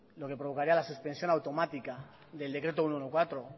lo que provocaría la suspensión automática del decreto ciento catorce